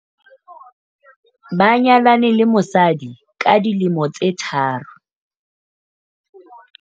ba nyalane le mosadi ka dilemo tse tharo